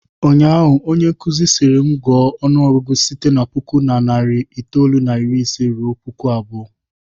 Ụnyaahụ, onyenkụzi sịrị m, gụọ ọnụọgụgụ site na puku na narị itoolu na iri ise ruo puku abụọ!